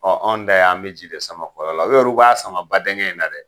Ɔɔ anw da y'an be ji sama kɔlɔn la, u yeru b'a sama badɛngɛ in na dɛ.